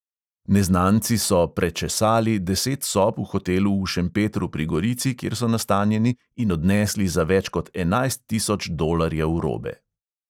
Neznanci so "prečesali" deset sob v hotelu v šempetru pri gorici, kjer so nastanjeni, in odnesli za več kot enajst tisoč dolarjev robe.